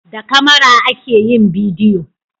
da kamara ake yin bidiyo